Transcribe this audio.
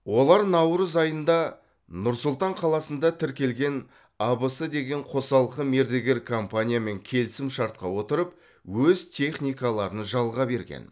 олар наурыз айында нұр сұлтан қаласында тіркелген абс деген қосалқы мердігер компаниямен келісімшартқа отырып өз техникаларын жалға берген